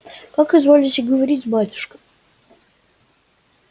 как изволите говорить батюшка